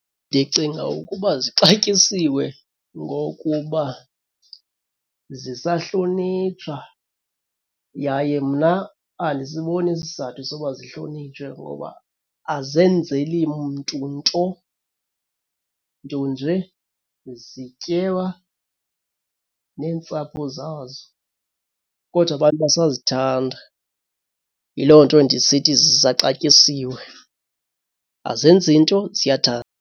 Ndicinga ukuba sixatyisiwe ngokuba zisahlonitshwa yaye mna andisiboni isizathu soba zihlonitshwe ngoba azenzeli mntu nto, nto nje zityeba neentsapho zazo. Kodwa abantu basazithanda. Yiloo nto ndisithi zisaxatyisiwe. Azenzi, nto ziyathandwa.